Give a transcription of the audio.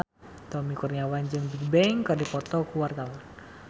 Tommy Kurniawan jeung Bigbang keur dipoto ku wartawan